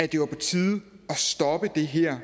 det var på tide at stoppe det her